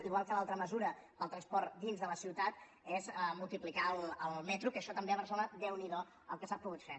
igual que l’altra mesura del transport dins de la ciutat és multiplicar el metro que això també a barcelona déu n’hi do el que s’ha pogut fer